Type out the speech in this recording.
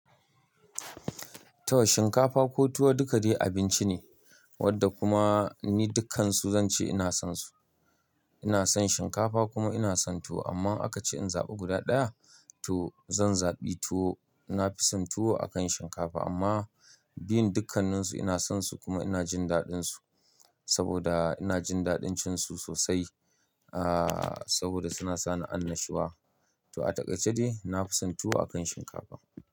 Tuwon shinkafa ko tuwo dukai dai abinci ne wanda kuma ni dukkansu zan ce ina son su. Ina son shinkafa kuma ina son tuwo amma aka ce in zaɓa guda ɗaya to zan zaɓi tuwo. Na fi son tuwo akan shinkafa amma biyun dukkanninsu ina son su kuma ina jin daɗinsu saboda ina jin daɗin cin su sosai. Aaa, saboda suna sani annashuwa. To a takaice dai na fi son tuwo akan shinkafa.